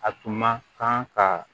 A tun ma kan ka